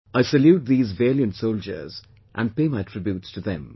I salute these valiant soldiers and pay my tributes to them